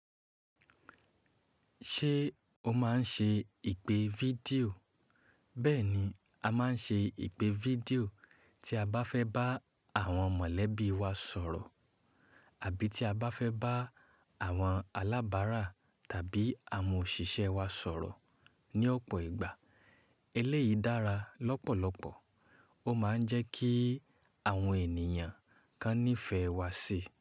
Ṣé o máa ń ṣe ìpè fídíò? Bẹ́ẹ̀ ni, a máa ń ṣe ìpè fídíò tí a bá fẹ́ bá àwọn mọ̀lẹ́bí wa sọ̀rọ̀ àbí tí a bá fẹ́ bá àwọn alábárà tàbí àwọn òṣìṣẹ́ wa sọ̀rọ̀. Ni ọ̀pọ̀ ìgbà eléyìí dára lọ́pọ̀lọpọ̀. Ó máa ń jẹ́ kí àwọn ènìyàn kan nífẹ̀ẹ́ wa síi.